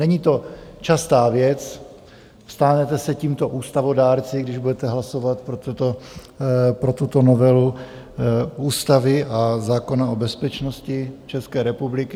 Není to častá věc, stanete se tímto ústavodárci, když budete hlasovat pro tuto novelu ústavy a zákona o bezpečnosti České republiky.